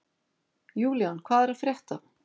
Julian, hvað er að frétta?